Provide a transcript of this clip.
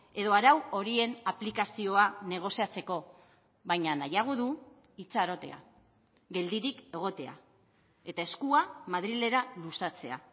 edo arau horien aplikazioa negoziatzeko baina nahiago du itxarotea geldirik egotea eta eskua madrilera luzatzea